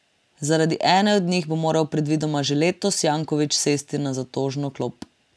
Zaradi ene od njih bo moral predvidoma že letos Janković sesti na zatožno klop.